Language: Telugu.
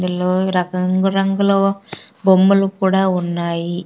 ఇందులో ఇరక-- రంగు రంగులో బొమ్మలు కూడా ఉన్నాయి.